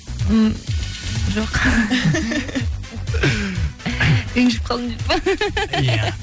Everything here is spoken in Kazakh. м жоқ ренжіп қалдым деп па иә